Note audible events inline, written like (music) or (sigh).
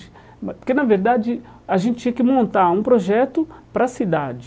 (unintelligible) Porque, na verdade, a gente tinha que montar um projeto para a cidade.